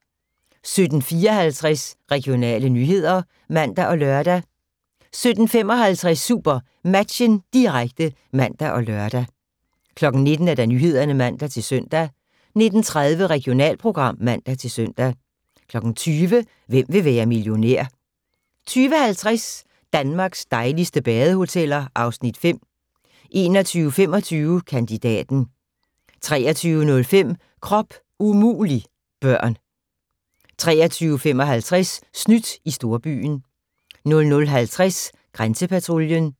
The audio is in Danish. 17:54: Regionale nyheder (man og lør) 17:55: SuperMatchen, direkte (man og lør) 19:00: Nyhederne (man-søn) 19:30: Regionalprogram (man-søn) 20:00: Hvem vil være millionær? 20:50: Danmarks dejligste badehoteller (Afs. 5) 21:25: Kandidaten 23:05: Krop umulig - børn 23:55: Snydt i storbyen 00:50: Grænsepatruljen